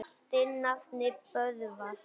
Þinn nafni, Böðvar.